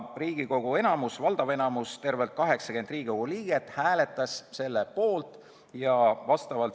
Riigikogu enamus, st tervelt 80 liiget hääletas selle poolt.